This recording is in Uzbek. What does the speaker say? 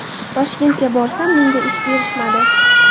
Toshkentga borsam menga ish berishmadi.